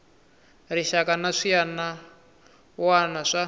rixaka na swiana wana swa